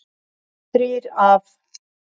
Þrír af